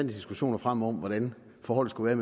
diskussioner frem om hvordan forholdet skulle